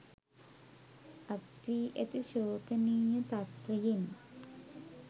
අත්වී ඇති ශෝකනීය තත්වයෙන්